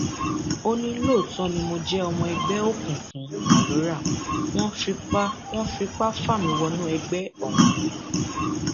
ó ní lóòótọ ni mo jẹ ọmọ ẹgbẹ òkùnkùn alọra wọn fipá wọn fipá fà mí wọnú ẹgbẹ ọhún ni